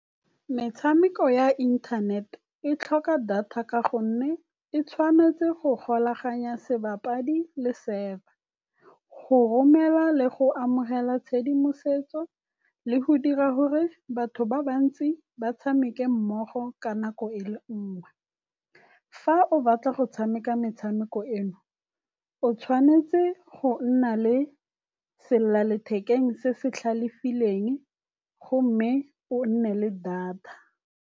Metshameko ya inthanet e tlhoka data ka gonne e tshwanetse go golaganya sebapadi le server, go romela le go amogela tshedimosetso le go dira gore batho ba bantsi ba tshameke mmogo ka nako e le nngwe. Fa o batla go tshameka metshameko eno, o tshwanetse go nna le selelalethekeng se se tlhalefileng gomme o nne le data.